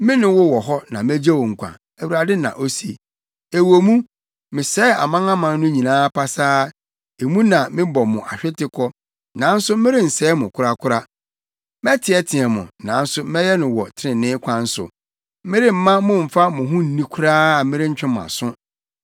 Me ne wo wɔ hɔ na megye wo nkwa,’ Awurade na ose. ‘Ɛwɔ mu, mesɛe amanaman no nyinaa pasaa, emu na mebɔ mo ahwete kɔ, nanso merensɛe mo korakora. Mɛteɛteɛ mo, nanso mɛyɛ no wɔ trenee kwan so; meremma mo mfa mo ho nni koraa a merentwe mo aso.’